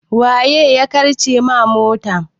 Waya karce ma mota?